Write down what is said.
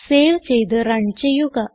save ചെയ്ത് run ചെയ്യുക